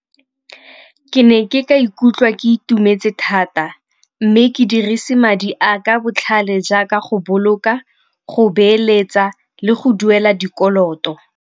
Ke ne ke ka ikutlwa ke itumetse thata mme ke dirise madi a ka botlhale jaaka go boloka, go beeletsa le go duela dikoloto.